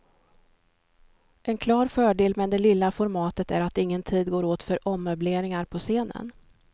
En klar fördel med det lilla formatet är att ingen tid går åt för ommöbleringar på scenen.